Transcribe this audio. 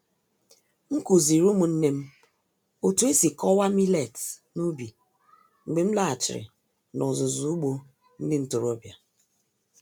M kụziri ụmụnne m otu esi kọwaa millets n’ubi mgbe m laghachiri n'ọzụzụ ugbo ndị ntorobịa.